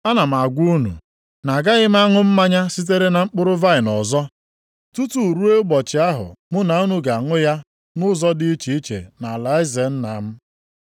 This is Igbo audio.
Ana m agwa unu, na-agaghị m aṅụ mmanya sitere na mkpụrụ vaịnị ọzọ, tutu ruo ụbọchị ahụ mụ na unu ga-aṅụ ya nʼụzọ dị iche nʼalaeze Nna m.”